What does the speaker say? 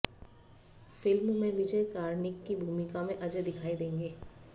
film में विजय कार्णिक की भूमिका में अजय दिखाई देंगे